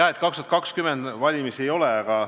Hea, et 2020. aastal valimisi ei ole.